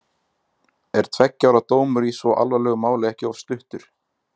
Er tveggja ára dómur í svo alvarlegu máli ekki of stuttur?